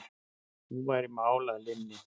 Nú væri mál að linni.